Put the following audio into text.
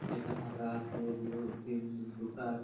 এটা ফাঁকা আছে এদিকে তিন দুটা--